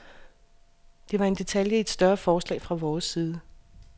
Det var en detalje i et større forslag fra vores side.